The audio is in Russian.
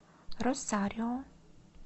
росарио